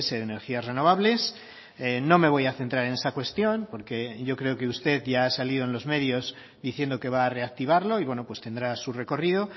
de energías renovables no me voy a centrar en esa cuestión porque yo creo que usted ya ha salido en los medios diciendo que va a reactivarlo y bueno pues tendrá su recorrido